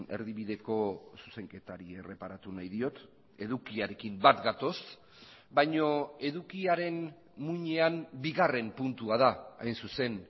erdibideko zuzenketari erreparatu nahi diot edukiarekin bat gatoz baina edukiaren muinean bigarren puntua da hain zuzen